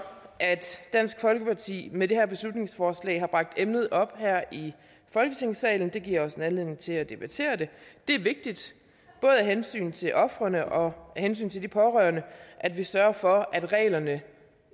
at dansk folkeparti med det her beslutningsforslag har bragt emnet op her i folketingssalen det giver os en anledning til at debattere det det er vigtigt både af hensyn til ofrene og af hensyn til de pårørende at vi sørger for at reglerne